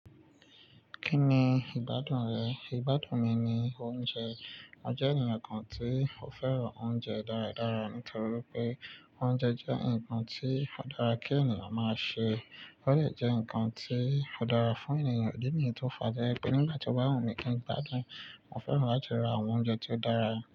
Kí ni ìgbádùn rẹ̀? Ìgbádùn mi ni oúnjẹ. Mo jẹ́ ènìyàn kan tí ó fẹ́ràn oúnjẹ dáradára nítorí pé oúnjẹ jẹ́ nǹkan tí ó dára kí ènìyàn máa ṣe. Ó lè jẹ́ nǹkan tí ó dára fún ènìyàn. Idí niyi tó fàá to je pé nígbà tí o bá wù mí kí n gbádùn, mo fẹ́ràn láti ra àwọn oúnjẹ tí ó dára.